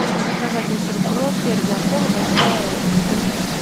заказать мистер пропер для пола большая бутылка